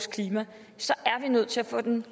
vil